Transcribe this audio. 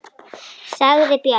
sagði Björg.